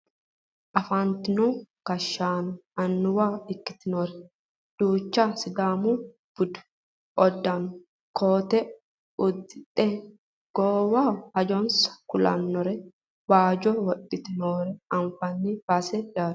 Afantino gashshaano annuwa ikkitinori duuchu sidaamu budu uddano koote uddidhe goowaho hajonsa kulannore baajo wodhite noore anfanni baseeti yaate .